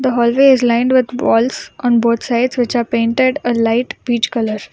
The hallways lined with walls on both sides which are painted a light peach color.